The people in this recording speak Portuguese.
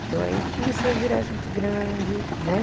Então aí comecei a virar gente grande, né?